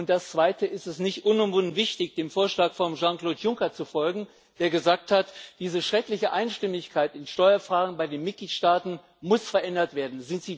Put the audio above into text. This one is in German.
Das Zweite Ist es nicht unumwunden wichtig, dem Vorschlag von Jean Claude Juncker zu folgen, der gesagt hat Diese schreckliche Einstimmigkeit in Steuerfragen bei den Mitgliedstaaten muss verändert werden.